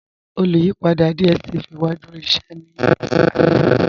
Olùyìpadà DStv wa dúró íṣẹ̀ ní ọ̀lá àná.